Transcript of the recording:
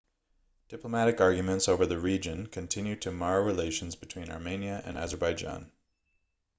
diplomatic arguments over the region continue to mar relations between armenia and azerbaijan